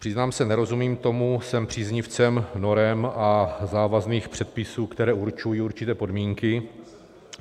Přiznám se, nerozumím tomu, jsem příznivcem norem a závazných předpisů, které určují určité podmínky.